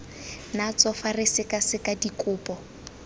natso fa re sekaseka dikopo